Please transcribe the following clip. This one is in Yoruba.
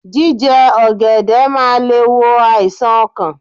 Jíje ògèdè máa le è wo àìsàn okàn